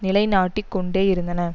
நிலை நாட்டிக் கொண்டேயிருந்தன